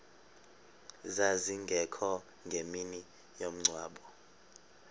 zazingekho ngemini yomngcwabo